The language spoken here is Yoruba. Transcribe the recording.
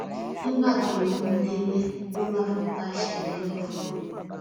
nígbà tó mú un débẹ ló bá fipá ṣe kinní fún un